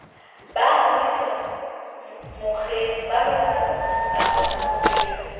ba ngodiso mokgeng kapa lekgotleng